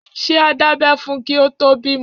Ṣé a dábẹ́ fún un kí o tó bímọ.